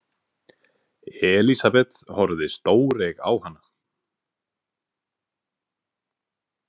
Elísabet horfði stóreyg á hana.